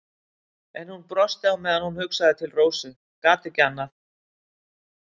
En hún brosti á meðan hún hugsaði til Rósu, gat ekki annað.